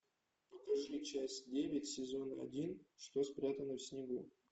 покажи часть девять сезон один что спрятано в снегу